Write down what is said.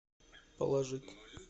положить